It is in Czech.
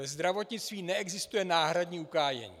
Ve zdravotnictví neexistuje náhradní ukájení.